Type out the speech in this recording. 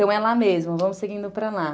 Então é lá mesmo, vamos seguindo para lá.